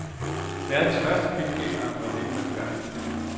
Verdens første filmgængere var nemme at begejstre.